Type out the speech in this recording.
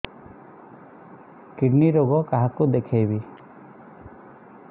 kidney ରୋଗ କାହାକୁ ଦେଖେଇବି